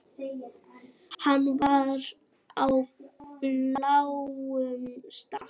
Hann var í bláum stakk.